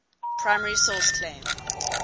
primary source claim